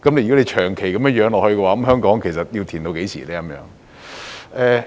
如果長期如此，香港其實要"填氹"到何時呢？